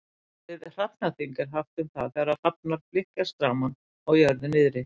Orðið hrafnaþing er haft um það þegar hrafnar flykkjast saman á jörðu niðri.